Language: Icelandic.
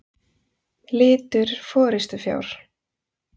Litur forystufjár.